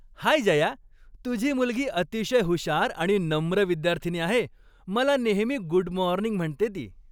हाय जया, तुझी मुलगी अतिशय हुशार आणि नम्र विद्यार्थिनी आहे. मला नेहमी गुड मॉर्निंग म्हणते ती.